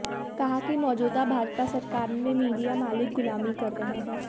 कहा कि मौजूदा भाजपा सरकार में मीडिया मालिक गुलामी कर रहे हैं